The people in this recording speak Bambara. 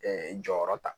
jɔyɔrɔ ta